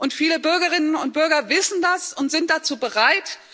Und viele Bürgerinnen und Bürger wissen das und sind dazu bereit.